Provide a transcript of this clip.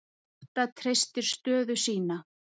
Grótta treystir stöðu sína